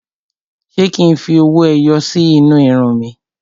Ṣé kí n fi owó ẹyọ sí inú irun mi?